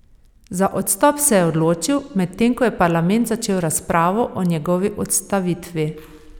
Za odstop se je odločil, medtem ko je parlament začel razpravo o njegovi odstavitvi.